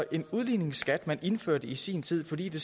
en udligningsskat man indførte i sin tid fordi det